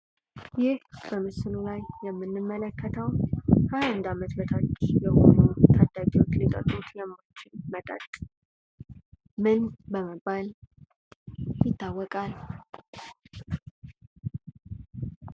ይህ በምስሉ ላይ የምንመለከተው ከሃያ አንድ አመት በታች ታዳጊዎች ሊጠጡት የማይችሉት መጠጥ ምን በመባል ይታወቃል?